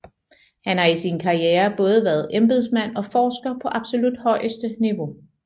Han har i sin karriere både været embedsmand og forsker på absolut højeste niveau